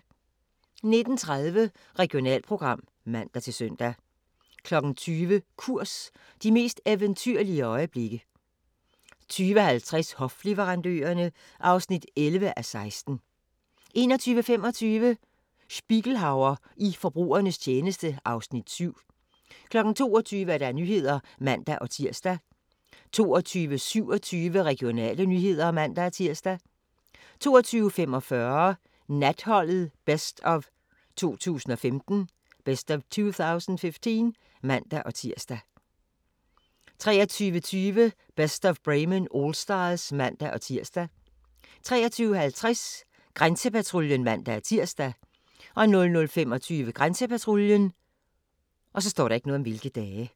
19:30: Regionalprogram (man-søn) 20:00: Kurs – de mest eventyrlige øjeblikke 20:50: Hofleverandørerne (11:16) 21:25: Spiegelhauer i forbrugernes tjeneste (Afs. 7) 22:00: Nyhederne (man-tir) 22:27: Regionale nyheder (man-tir) 22:45: Natholdet Best of 2015 (man-tir) 23:20: Best of Bremen Allstars (man-tir) 23:50: Grænsepatruljen (man-tir) 00:25: Grænsepatruljen